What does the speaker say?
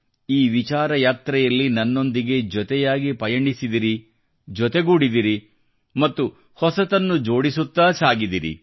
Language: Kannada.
ಈ ವಿಚಾರ ಯಾತ್ರೆಯಲ್ಲಿ ನನ್ನೊಂದಿಗೆ ಜೊತೆಯಾಗಿ ಪಯಣಿಸಿದಿರಿ ಜೊತೆಗೂಡಿದಿರಿ ಒಗ್ಗೂಡಿದಿರಿ ಮತ್ತು ಹೊಸತನ್ನು ಜೋಡಿಸುತ್ತಾ ಸಾಗಿದಿರಿ